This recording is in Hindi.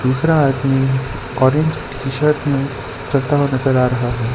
दूसरा आदमी ऑरेंज टीशर्ट में चलता हुआ नजर आ रहा है।